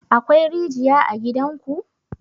Akwai rijiya a gidan ku?